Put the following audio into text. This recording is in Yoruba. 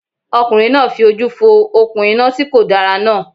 Ọkùnrin náà fi ojú fo òkun iná ti kòdára náà